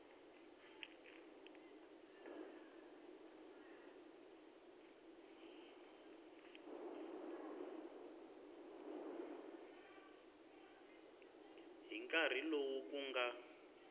hi nkarhi lowu ku nga